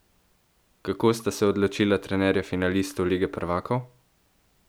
Kako sta se odločila trenerja finalistov lige prvakov?